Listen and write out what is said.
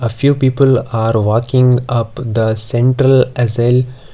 a few people are walking up the central .